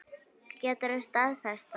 Geturðu staðfest það?